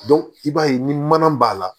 i b'a ye ni mana b'a la